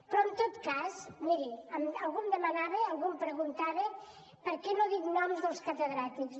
però en tot cas miri algú em demanava algú em preguntava per què no dic noms dels catedràtics